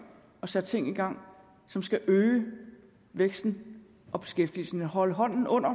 og sat ting i gang som skal øge væksten og beskæftigelsen og holde hånden under